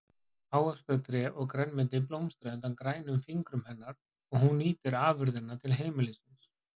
Ávaxtatré og grænmeti blómstra undan grænum fingrum hennar og hún nýtir afurðirnar til heimilisins.